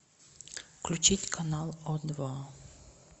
включить канал о два